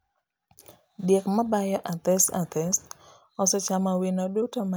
Diek mabayo athes athes osechamo wino duto manie wi oduma madongo.